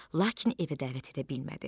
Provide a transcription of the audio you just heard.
Lakin evə dəvət edə bilmədi.